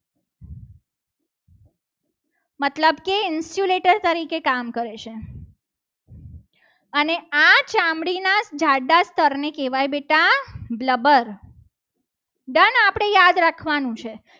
મતલબ કે insulator તરીકે કામ કરે છે. અને આ ચામડીના જાડા સ્તરને કહેવાય. બેટા glubber done આપણે યાદ રાખવાનું છે.